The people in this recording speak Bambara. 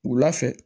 Wula fɛ